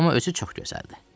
Amma özü çox gözəldir.